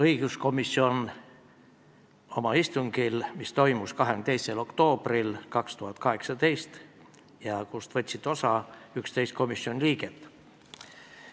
Õiguskomisjoni istung toimus 22. oktoobril 2018 ja sellest võttis osa 11 komisjoni liiget.